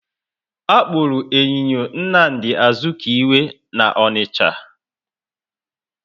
Akpuru enyinyo Nnamdi Azikiwe na Onicha